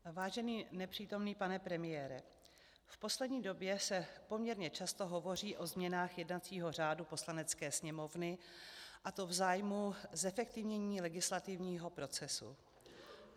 Vážený nepřítomný pane premiére, v poslední době se poměrně často hovoří o změnách jednacího řádu Poslanecké sněmovny, a to v zájmu zefektivnění legislativního procesu.